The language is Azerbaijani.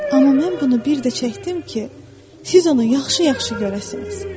Amma mən bunu bir də çəkdim ki, siz onu yaxşı-yaxşı görəsiniz.